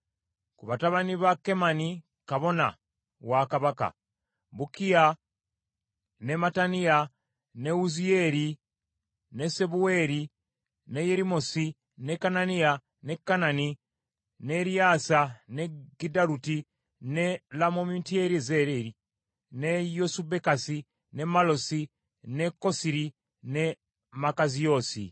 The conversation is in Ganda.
Ku batabani ba Kemani kabona wa kabaka: Bukkiya, ne Mattaniya, ne Wuziyeeri, ne Sebuweri, ne Yerimosi, ne Kananiya, ne Kanani, ne Eriyaasa, ne Giddaluti, ne Lomamutyezeri, ne Yosubekasa, ne Mallosi, ne Kosiri, ne Makaziyoosi.